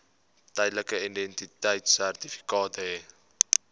tydelike identiteitsertifikaat hê